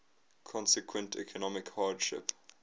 consequent economic hardship